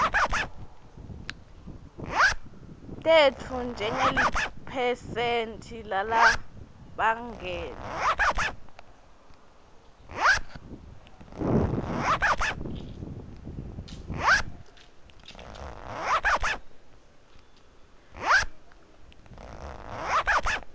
tetfu njengeliphesenti lalabangenwe